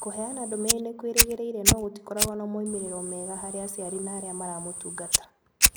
Kũheana ndũmĩrĩri nĩ kwĩrĩgĩrĩire no gũtikoragwo na moimĩrĩro mega harĩ aciari na arĩa maramatungata.